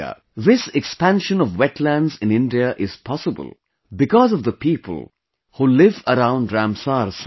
This expansion of Wetlands in India is possible because of the people who live around Ramsar Sites